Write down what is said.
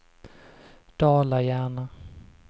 Dala-Järna